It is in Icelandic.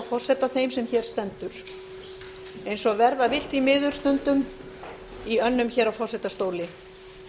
forseta þeim sem hér stendur eins og verða vill því miður stundum í önnum hér á forsetastóli